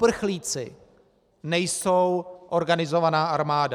Uprchlíci nejsou organizovaná armáda.